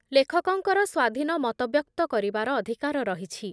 ଲେଖକଙ୍କର ସ୍ଵାଧୀନ ମତବ୍ୟକ୍ତ କରିବାର ଅଧିକାର ରହିଛି